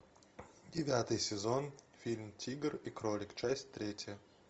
девятый сезон фильм тигр и кролик часть третья